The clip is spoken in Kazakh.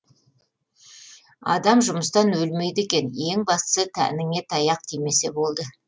адам жұмыстан өлмейді екен ең бастысы тәніңе таяқ тимесе болды